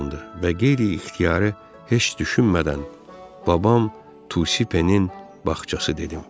Və qeyri-ixtiyari heç düşünmədən babam Tusi Penin bağçası dedim.